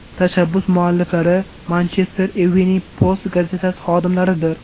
Tashabbus mualliflari Manchester Evening Post gazetasi xodimlaridir.